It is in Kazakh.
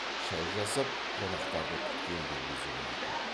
шай жасап қонақтарды күткен де өзі болатын